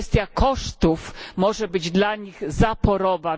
Kwestia kosztów może być dla nich zaporowa.